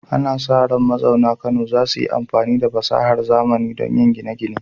Ana sa ran mazauna Kano za su yi amfani da fasahar zamani don yin gine-gine.